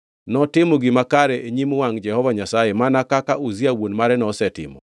Notimo gima kare e nyim wangʼ Jehova Nyasaye mana kaka Uzia wuon mare nosetimo.